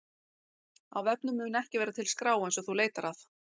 Á vefnum mun ekki vera til skrá eins og þú leitar að.